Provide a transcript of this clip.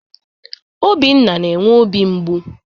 Obinna na-enwe obi mgbụ